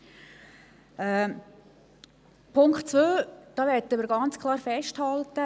Zu Punkt 2 möchten wir Folgendes festhalten: